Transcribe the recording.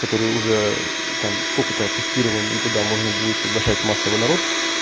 который уже там сколько-то тестированный и туда можно будет приглашать массово народ